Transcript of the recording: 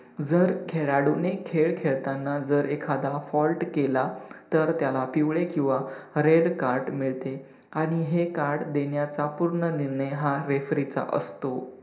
जर खेळाडूने खेळ खेळताना जर एखादा fault केला तर त्याला पिवळे किवा red card मिळते आणि हे card देण्याचा पूर्ण निर्णय हा refree चा असतो.